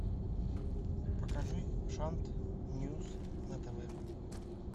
покажи шант ньюс на тв